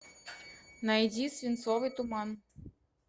найди свинцовый туман